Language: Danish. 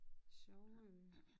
Sjove